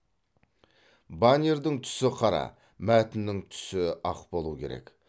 баннердің түсі қара мәтіннің түсі ақ болуы керек